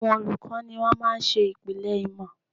Àwọn olùkọ́ ni wón máa ń ṣe ìpìlẹ̀ ìmọ̀